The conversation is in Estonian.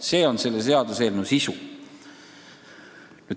See ongi selle seaduseelnõu sisu.